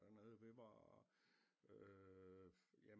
Dernede vi var øh ja